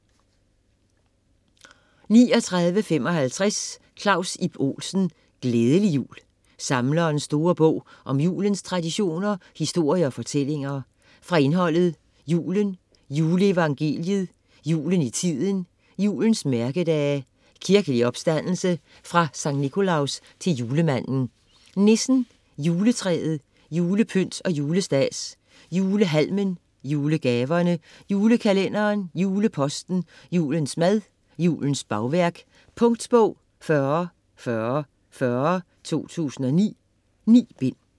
39.55 Olsen, Claus Ib: Glædelig jul: Samlerens store bog om julens traditioner, historie og fortællinger Fra indholdet: Julen; juleevangeliet; Julen i tiden; Julens mærkedage; Kirkelig opstandelse; Fra Skt. Nicolaus til julemanden; Nissen; Juletræet; Julepynt og julestads; Julehalmen; Julegaverne; Julekalenderen; Juleposten; Julens mad; Julens bagværk. Punktbog 404040 2009. 9 bind.